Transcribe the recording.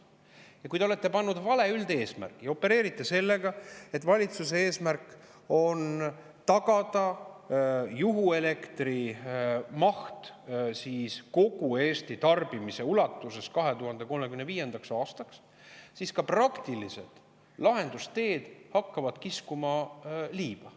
Ja kui te olete pannud vale üldeesmärgi ja opereerite sellega, et valitsuse eesmärk on tagada 2035. aastaks juhuelektri maht kogu Eesti tarbimise ulatuses, siis ka praktilised lahendusteed hakkavad liiva.